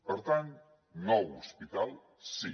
per tant nou hospital sí